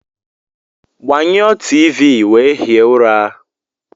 Gbanyụọ T.v wee hie ụra!